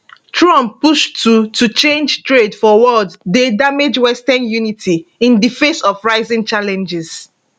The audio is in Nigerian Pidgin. trump push to to change trade for world dey damage western unity in di face of rising challenges